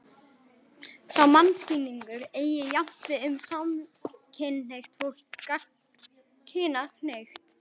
Sá mannskilningur eigi jafnt við um samkynhneigt fólk sem gagnkynhneigt.